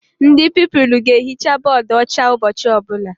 Ndị Pupilụ ga ehicha bọdụ ọcha ụbọchị ọbụla